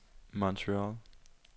Montreal